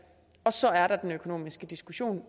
og så er der den økonomiske diskussion